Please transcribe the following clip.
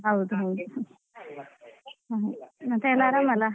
ಹ್ಮ್ ಹೌದೌದು ಮತ್ತೆ ಎಲ್ಲ ಆರಾಮ ಅಲ್ಲಾ.